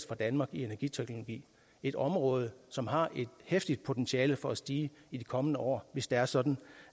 fra danmark i energiteknologi et område som har et heftigt potentiale for at stige i de kommende år hvis det er sådan